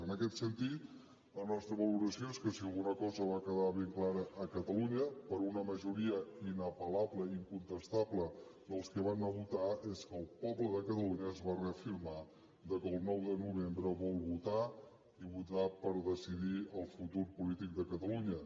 en aquest sentit la nostra valoració és que si alguna cosa va quedar ben clara a catalunya per una majoria inapel·lable i incontestable dels que van anar a votar és que el poble de catalunya es va reafirmar que el nou de novembre vol votar i votar per decidir el futur polític de catalunya